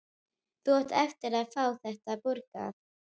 Ég nenni ekki að hanga hér.